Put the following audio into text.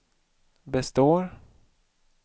består